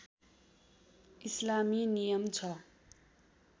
इस्लामी नियम छ